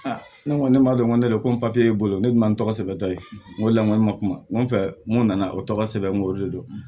ne ko ne m'a dɔn ko ne don ko bolo ne dun m'a tɔgɔ sɛbɛn dɔ ye n ko lamɔ ma kuma n ko fɛ n ko nana o tɔgɔ sɛbɛn n ko o de don